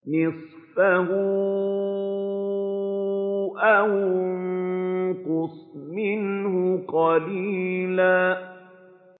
نِّصْفَهُ أَوِ انقُصْ مِنْهُ قَلِيلًا